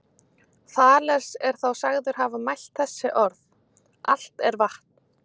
Þales er þá sagður hafa mælt þessi orð: Allt er vatn